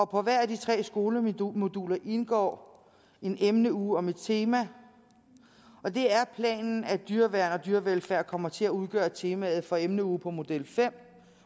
på hvert af de tre skolemoduler indgår en emneuge om et tema og det er planen at dyreværn og dyrevelfærd kommer til at udgøre temaet for emneugen på modul fem